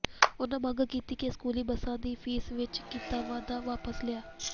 ਉਨ੍ਹਾਂ ਮੰਗ ਕੀਤੀ ਕਿ ਸਕੂਲੀ ਬੱਸਾਂ ਦੀ ਫੀਸ ਵਿੱਚ ਕੀਤਾ ਵਾਧਾ ਵਾਪਸ ਲਿਆ